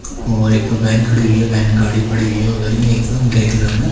और एक वैन खड़ी हुई वैन गाड़ी खड़ी हुई हैं उधर भी ग्रे कलर में--